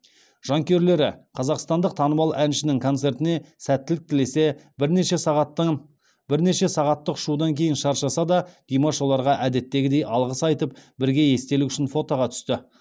жанкүйерлері қазақстандық танымал әншінің концертіне сәттілік тілесе бірнеше сағаттық ұшудан кейін шаршаса да димаш оларға әдеттегідей алғыс айтып бірге естелік үшін фотоға түсті